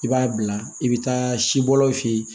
I b'a bila i bɛ taa sibɔlaw fe ye